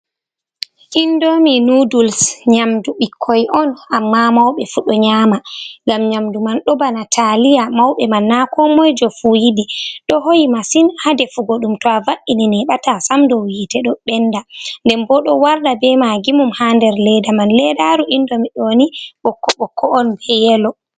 indomi nuduls, nyamdu bikkoi on, amma mauɓe fu do nyama. ngam nyamdu man, do bana taliya, mauɓe man na ko moi jo fu yidi.do hoyi masin ha defuugo dum ,to a va’’ini ,neɓata sam dow yite do benda. nden bo do warda be magimum ha nder ledda man. ledaru indomi ɗoni bokko'on be yelo.